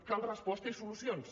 cal resposta i solucions